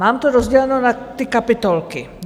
Mám to rozděleno na ty kapitolky.